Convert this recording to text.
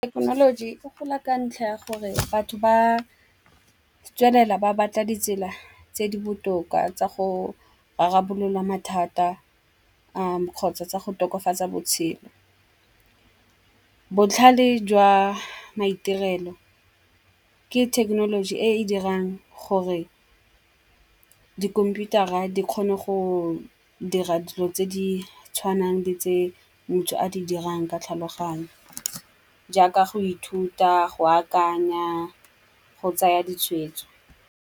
Thekenoloji e gola ka ntlha ya gore batho ba tswelela ba batla ditsela tse di botoka tsa go rarabolola mathata kgotsa tsa go tokafatsa botshelo. Botlhale jwa maitirelo ke thekenoloji e e dirang gore dikhomputara di kgone go dira dilo tse di tshwanang le tse motho a di dirang ka tlhaloganyo. Jaaka go ithuta, go akanya, go tsaya ditshwetso.